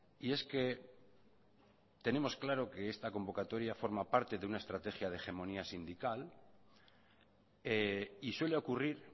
y es que tenemos claro que esta convocatoria forma parte de una estrategia de hegemonía sindical y suele ocurrir